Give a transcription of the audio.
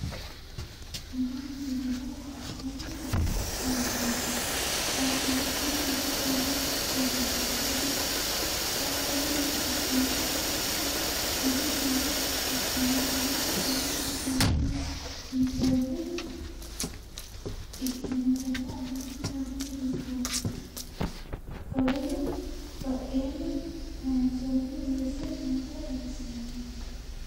Tenne miisilera biifadu miini lonsonnihu nootana kuuni minii loosaminhunno hakketeni ekanna kunnino buudu miine ekkinotana allenni sharunni diinboni kolenno badhenni kayinsonni weese noota xawisanno.